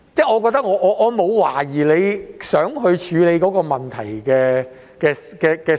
我沒有懷疑他想處理這個問題的心。